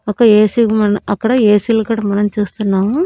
ఒక ఏసీ మన్ అక్కడ ఏసీ లు కూడా మనం చూస్తున్నాము.